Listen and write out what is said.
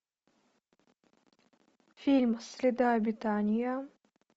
фильм среда обитания